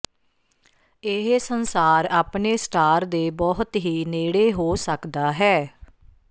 ਇਹ ਸੰਸਾਰ ਆਪਣੇ ਸਟਾਰ ਦੇ ਬਹੁਤ ਹੀ ਨੇੜੇ ਹੋ ਸਕਦਾ ਹੈ